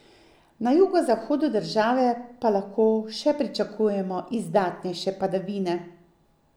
Na jugozahodu države pa lahko še pričakujemo izdatnejše padavine.